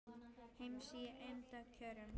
heims í eymda kjörum